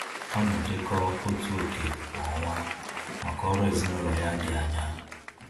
Ọ na-edekọ otu oké kwa ọnwa maka ọrụ ezinaụlọ ya dị anya